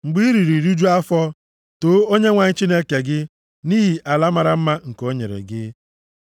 Mgbe i riri rijuo afọ, too Onyenwe anyị Chineke gị nʼihi ala mara mma nke o nyere gị.